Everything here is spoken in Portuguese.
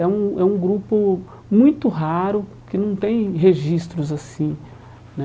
É um é um grupo muito raro, que não tem registros assim né.